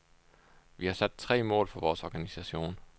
Vi har sat tre mål for vores organisation.